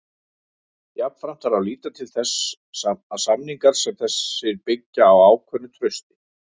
Jafnframt þarf að líta til þess að samningar sem þessir byggjast á ákveðnu trausti.